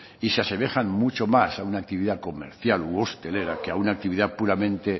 y se asemejan mucho mas a una actividad comercial u hostelera que a una actividad puramente